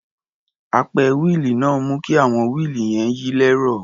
Apẹ wíìlì náà ń mú kí àwọn wíìlì yẹn yí lẹ́rọ̀.